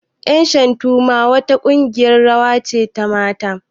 Ƴan shantu ma wa ta ƙungiyar rawa ce ta mata